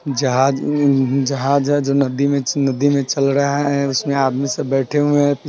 जहाज जहाज नदी मेनदी में चल रहा है उसमें आदमी सब बैठे हुए है।